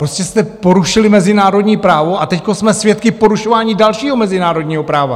Prostě jste porušili mezinárodní právo a teď jsme svědky porušování dalšího mezinárodního práva.